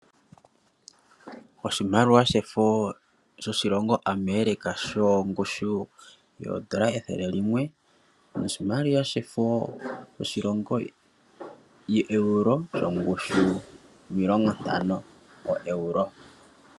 Oshimaliwa shefo shoshilongo America sho ngushu yoondola ethele limwe noshimaliwa shefo shoshilongo Euro sho ngushu yoondola omilongontano Euro.